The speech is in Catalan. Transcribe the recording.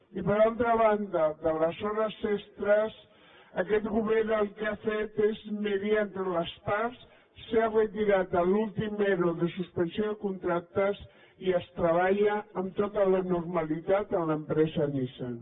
i per altra banda de les hores extres aquest govern el que ha fet és mediació entre les parts s’ha retirat l’últim ero de suspensió de contractes i es treballa amb tota la normalitat en l’empresa nissan